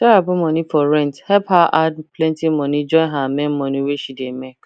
sarah put money for rent house help her add plenty money join her main money wey she dey make